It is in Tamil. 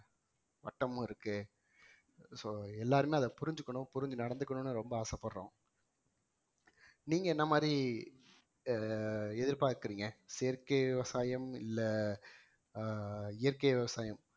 வட்டமும் இருக்கு so எல்லாருமே அதை புரிஞ்சுக்கணும் புரிஞ்சு நடந்துக்கணும்னு ரொம்ப ஆசைப்படுறோம் நீங்க என்ன மாதிரி அஹ் எதிர்பாக்கறீங்க செயற்கை விவசாயம் இல்லை ஆஹ் இயற்கை விவசாயம்